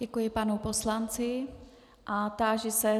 Děkuji panu poslanci a táži se...